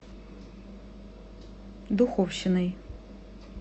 духовщиной